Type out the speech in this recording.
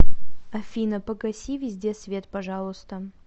афина погаси везде свет пожалуйста